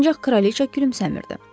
Ancaq kraliçə gülümsəmirdi.